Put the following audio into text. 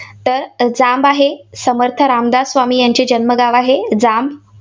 तर जांब आहे. समर्थ रामदास स्वामी यांचे जन्मगाव आहे जांब.